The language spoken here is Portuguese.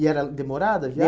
E era demorada a